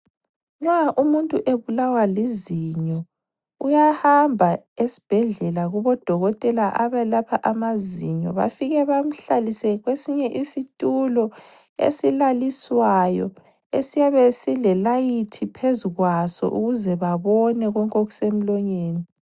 Nxa umuntu ebulawa lizinyo uyahamba esibhedlela kubo dokotela abelapha amazinyo bafike bamhlalise kwesinye isitulo esilaliswayo esiyabe sile layithi phezu kwaso ukuze babone konke okuse mlonyeni.